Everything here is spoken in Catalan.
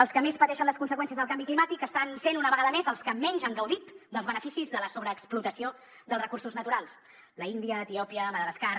els que més pateixen les conseqüències del canvi climàtic estan sent una vegada més els que menys han gaudit dels beneficis de la sobreexplotació dels recursos naturals l’índia etiòpia madagascar